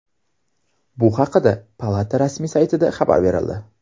Bu haqda palata rasmiy saytida xabar berildi .